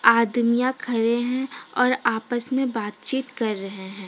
आदमियां खरे है और आपस में बात चीत कर रहे हैं।